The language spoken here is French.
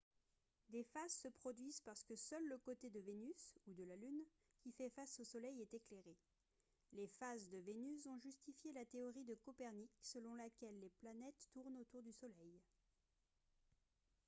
des phases se produisent parce que seul le côté de vénus ou de la lune qui fait face au soleil est éclairé. les phases de vénus ont justifié la théorie de copernic selon laquelle les planètes tournent autour du soleil